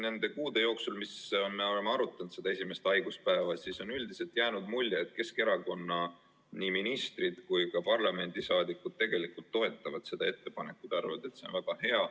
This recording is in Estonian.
Nende kuude jooksul, mis me oleme arutanud seda esimest haiguspäeva, on üldiselt jäänud mulje, et Keskerakonna ministrid ja ka parlamendisaadikud toetavad seda ettepanekut, arvavad, et see on väga hea.